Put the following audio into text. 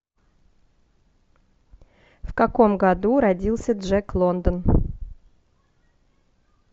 в каком году родился джек лондон